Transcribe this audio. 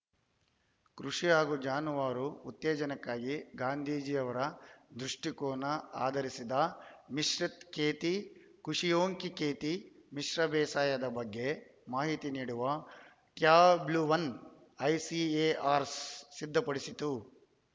ಕೃಷಿ ಹಾಗೂ ಜಾನುವಾರು ಉತ್ತೇಜನಕ್ಕೆ ಗಾಂಧೀಜಿ ಅವರ ದೃಷ್ಟಿಕೋನ ಆಧರಿಸಿದ ಮಿಶ್ರಿತ್‌ ಖೇತಿ ಖುಷಿಯೊಂಕಿ ಖೇತಿ ಮಿಶ್ರ ಬೇಸಾಯದ ಬಗ್ಗೆ ಮಾಹಿತಿ ನೀಡುವ ಟ್ಯಾಬ್ಲೊವನ್ನು ಐಸಿಎಆರ್‌ ಸಿದ್ಧಪಡಿಸಿತ್ತು